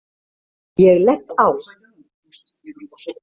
Ég legg á.